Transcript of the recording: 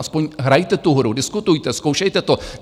Aspoň hrajte tu hru, diskutujte, zkoušejte to.